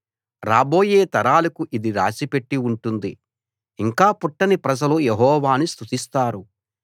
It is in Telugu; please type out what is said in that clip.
రాబోయే తరాలకు ఇది రాసి పెట్టి ఉంటుంది ఇంకా పుట్టని ప్రజలు యెహోవాను స్తుతిస్తారు